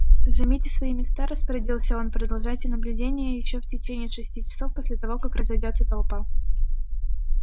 займите свои места распорядился он продолжайте наблюдение ещё в течение шести часов после того как разойдётся толпа